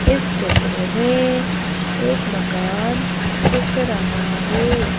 इस चित्र में एक मकान दिख रहा है।